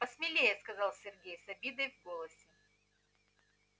посмелее сказал сергей с обидой в голосе